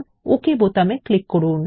ওকে বোতামে ক্লিক করুন